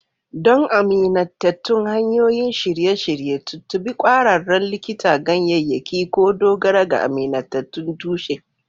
Don amintattun hanyoyin shirye-shirye, tuntuɓi ƙwararren likitan ganyayyaki ko dogara ga amintattun tushe.